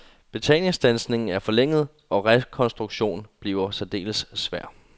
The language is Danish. Betalingsstandsningen er forlænget, og rekonstruktion bliver særdeles svær.